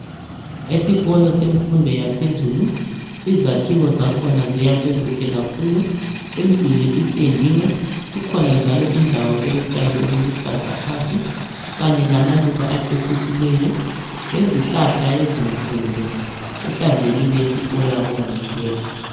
Esikolo semfundo yaphezulu izakhiwo zakhona ziyakhwe kuhle kakhulu imduli ipendiwe kukhona njalo indawo elotshani obuluhlaza phansi kanye lamaluba acecisileyo lezihlahla ezinkulu kuhlanzekile esikolo akulangcekeza.